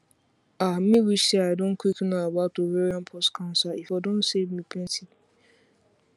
ah me wish say i don quick know about ovarian pause cancer e for don save me plenty